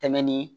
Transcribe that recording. Tɛmɛni